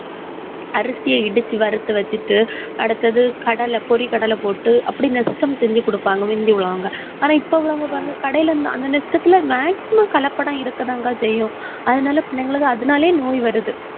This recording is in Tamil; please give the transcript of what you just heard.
அரிசிய இடிச்சு வறுத்து வச்சுட்டு, அடுத்தது கடலை பொரிகடலை போட்டு அப்படி nestem செஞ்சு கொடுப்பாங்க முந்தி உள்ளவங்க ஆனா, இப்ப உள்ளவங்க பாருங்க கடையில அந்த nestem ல maximum கலப்படம் இருக்கதான்கா செய்யும். அதனால, பிள்ளைங்களுக்கு அதனாலேயே நோய் வருது.